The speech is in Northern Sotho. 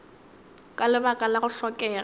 ka lebaka la go hlokega